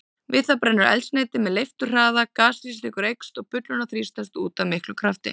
Við það brennur eldsneytið með leifturhraða, gasþrýstingur eykst og bullurnar þrýstast út af miklum krafti.